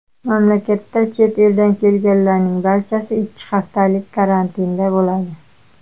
Mamlakatda chet eldan kelganlarning barchasi ikki haftalik karantinda bo‘ladi.